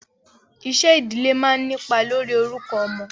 Iṣẹ́ ìdílé máa ń nípa lórí orúkọ ọmọ.